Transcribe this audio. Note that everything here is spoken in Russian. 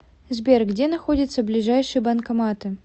сбер где находятся ближайшие банкоматы